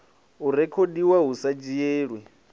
o rekhodiwaho hu sa dzhielwi